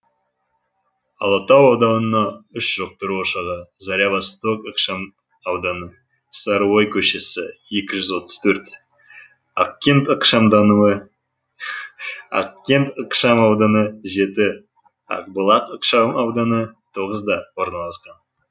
алатау ауданына үш жұқтыру ошағы заря восток ықшамауданы сары ой көшесі екі жүз отық төрт ақкент ықшамауданы жеті ақбұлақ ықшамауданы тоғызда орналасқан